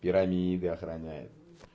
пирамиды охраняет